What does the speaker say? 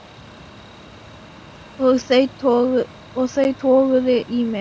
Og þau toguðu í mig.